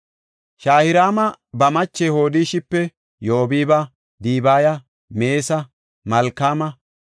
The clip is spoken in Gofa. Shaharaami ba mache Hodishipe Yobaaba, Dibaya, Meesa, Malkaama,